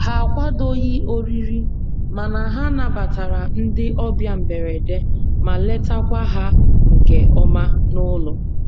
Ha akwadoghị oriri, mana ha nabatara ndị ọbịa mberede ma letakwa ha nke ọma n'ụlọ.